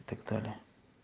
и так далее